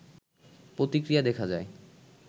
প্রতিক্রিয়া দেখা যায়